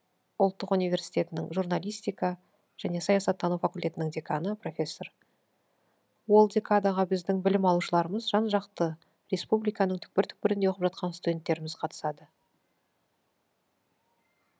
ұлттық университетінің журналистика және саясаттану факультетінің деканы профессор ол декадаға біздің білім алушыларымыз жан жақты республиканың түкпір түкпірінде оқып жатқан студенттеріміз қатысады